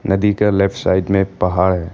नदी का left side में एक पहाड़ है।